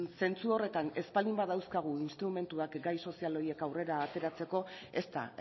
zentzu horretan ez baldin badauzkagu instrumentuak gai sozial horiek aurrera ateratzeko ez da